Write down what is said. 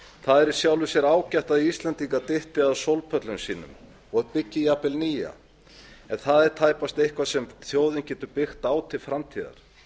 það er í sjálfu sér ágætt að íslendingar dytti að sólpöllum sínum og byggi jafnvel nýja en það er tæpast eitthvað sem þjóðin getur byggt á til framtíðar